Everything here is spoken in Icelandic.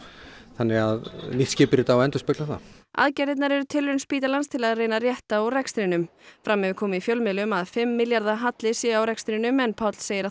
þannig að nýtt skipurit á að endurspegla það aðgerðirnar eru tilraun spítalans til að reyna að rétta úr rekstrinum fram hefur komið í fjölmiðlum að fimm milljarða halli sé á rekstrinum en Páll segir